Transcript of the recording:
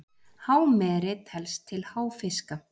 hámeri telst til háfiska